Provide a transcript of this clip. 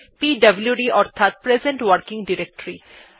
পিডব্লুড অর্থাৎ present working directory